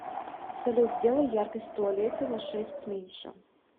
салют сделай яркость в туалете на шесть меньше